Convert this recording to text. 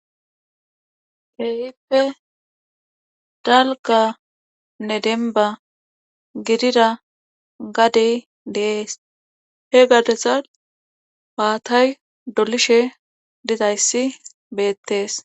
keehippe dalgganne dembba gidida gadee de7ees he gadezan maatay dolishe dizayssi beettees.